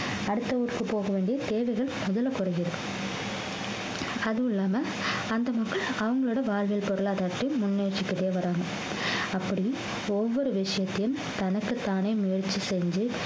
அடுத்த ஊருக்கு போக வேண்டிய தேவைகள் முதல்ல குறைஞ்சிருக்கு அதுவும் இல்லாம அந்த மக்கள் அவங்களோட வாழ்வியல் பொருளாதாரத்தை முன்னேற்றிக்கிட்டே வர்றாங்க அப்படி ஒவ்வொரு விஷயத்தையும் தனக்குத்தானே முயற்சி செஞ்சு